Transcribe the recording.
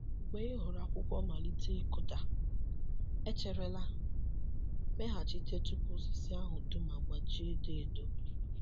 Mgbe ị hụrụ akwụkwọ malite ịkụda, echerela—meghachite tupu osisi ahụ dum agbaji edo edo.